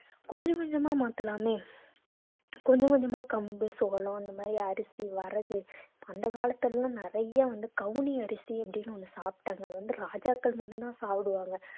கொஞ்சம் கொஞ்சமா மாத்தலாமே கொஞ்சம் கொஞ்சமா கம்பு சோளம் இந்த மாதிரி அரிசி வரகு அந்த காலத்துல எல்லாம் நிறைய வந்து கவுனி அரிசி அப்படின்னு ஒண்ணு சாப்பிட்டாங்க அது வந்து ராஜாக்கள் மட்டும்தான் சாப்பிடுவாங்க